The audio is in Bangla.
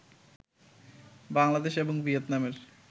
বাংলাদেশ এবং ভিয়েতনামের